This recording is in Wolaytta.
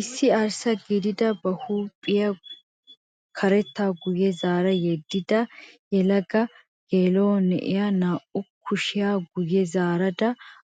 Issi arssa gidida ba huuphphiyaa karettaa guye zaara yedida yelaga gelaa'o na'iyaa naa"u kushiyaa guye zaarada